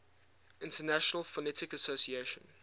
international phonetic association